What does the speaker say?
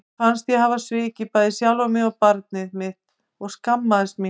Mér fannst ég hafa svikið bæði sjálfa mig og barnið mitt og ég skammaðist mín.